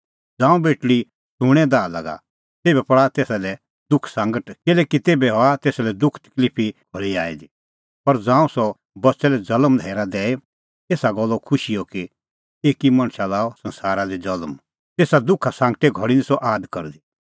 ज़ांऊं बेटल़ी सूंणें दाह लागा तेभै पल़ा तेसा लै दुखसांगट किल्हैकि तेभै हआ तेसा लै दुखा तकलिफे घल़ी आई दी पर ज़ांऊं सह बच्च़ै लै ज़ल्म दैई हेरा एसा गल्ले खुशी कि एकी मणछ लअ संसारा दी ज़ल्म तेसा दुखा सांगटे घल़ी निं सह आद करदी